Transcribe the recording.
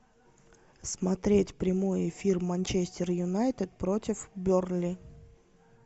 смотреть прямой эфир манчестер юнайтед против бернли